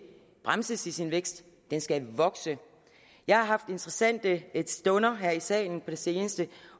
bremses i sin vækst den skal vokse jeg har haft interessante stunder her i salen på det seneste